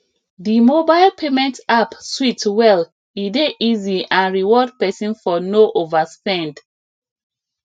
the mobile payment app sweet well e dey easy and reward person for no overspend